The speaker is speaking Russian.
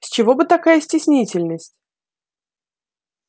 с чего бы такая стеснительность